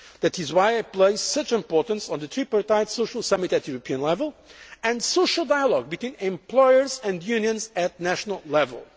that is why I place such importance on the Tripartite Social Summit at European level, and social dialogue between employers and unions at national